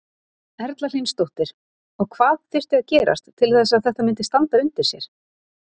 Erla Hlynsdóttir: Og hvað þyrfti að gerast til að þetta myndi standa undir sér?